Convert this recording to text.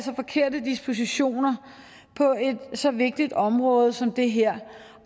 forkerte dispositioner på et så vigtigt område som det her